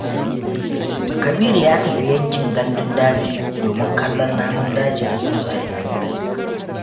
Kabiru ya tafi yankin gandun daji domin kallon namun daji da tsuntsaye.